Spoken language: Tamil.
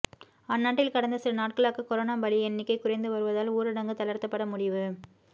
அந்நாட்டில் கடந்த சில நாட்களாக கொரோனா பலி எண்ணிக்கை குறைந்து வருவதால் ஊரடங்கு தளர்த்தப்பட முடிவு